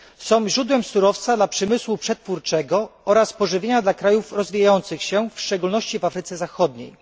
Są one źródłem surowca dla przemysłu przetwórczego oraz pożywienia dla krajów rozwijających się, w szczególności w Afryce Zachodniej.